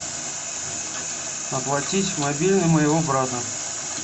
оплатить мобильный моего брата